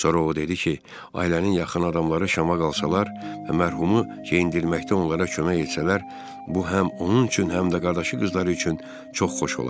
Sonra o dedi ki, ailənin yaxın adamları Şama qalsalar və mərhumu geyindirməkdə onlara kömək etsələr, bu həm onun üçün, həm də qardaşı qızları üçün çox xoş olar.